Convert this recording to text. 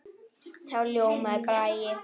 Þá ljómaði Bragi.